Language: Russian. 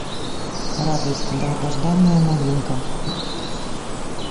радость долгожданная новинка